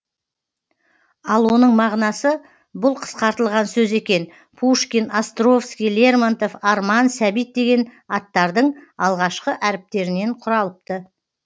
ал оның мағынасы бұл қысқартылған сөз екен пушкин островский лермонтов арман сәбит деген аттардың алғашқы әріптерінен құралыпты